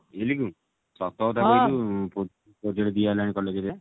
ଏ ମିକୁ ସତ କଥା କହିଲୁ project ଦିଆ ହେଲାଣି college ରେ?